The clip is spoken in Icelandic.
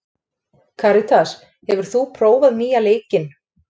Karitas, hefur þú prófað nýja leikinn?